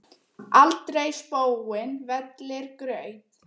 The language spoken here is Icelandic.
aldrei spóinn vellir graut.